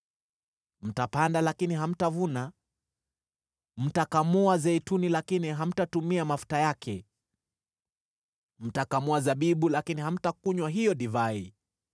Mtapanda lakini hamtavuna; mtakamua zeituni lakini hamtatumia mafuta yake. Mtakamua zabibu lakini hamtakunywa hiyo divai.